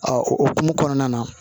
o hukumu kɔnɔna na